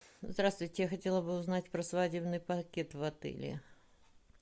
здравствуйте я хотела бы узнать про свадебный пакет в отеле